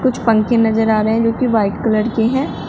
कुछ पंखें नजर आ रहे हैं जो कि व्हाइट कलर के हैं।